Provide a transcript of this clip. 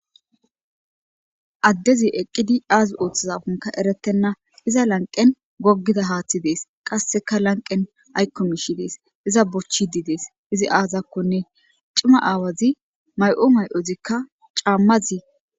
Adezi eqid azi oothizakonka eretena iza lanqen gogiza hath Des, qaseka lanqen ayko mish Des. Iza bochid Des izi azakonne cima awozi mayo mayozika camaz....